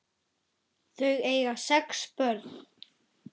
Þau eiga sex börn.